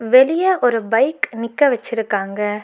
வெளிய ஒரு பைக் நிக்க வச்சிருக்காங்க.